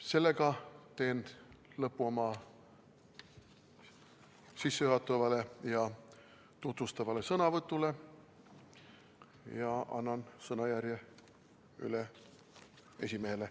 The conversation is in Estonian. Sellega teen lõpu oma sissejuhatavale ja tutvustavale sõnavõtule ja annan sõnajärje üle juhatajale.